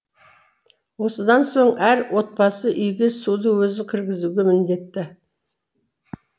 осыдан соң әр отбасы үйге суды өзі кіргізуге міндетті